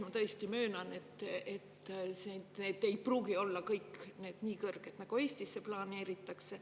Ma tõesti möönan, et need ei pruugi olla kõik nii kõrged, nagu need, mida Eestisse planeeritakse.